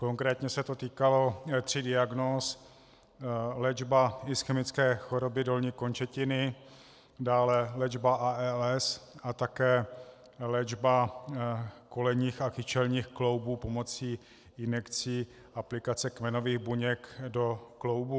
Konkrétně se to týkalo tří diagnóz - léčby ischemické choroby dolní končetiny, dále léčby ALS a také léčby kolenních a kyčelních kloubů pomocí injekcí aplikace kmenových buněk do kloubů.